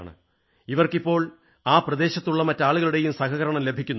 ഇവർക്ക് ഇപ്പോൾ ആ പ്രദേശത്തുള്ള മറ്റാളുകളുടെയും സഹകരണം ലഭിക്കുന്നുണ്ട്